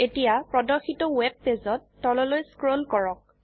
এতিয়া প্ৰদৰ্শিত ওয়েব পেজততললৈ স্ক্ৰোল কৰক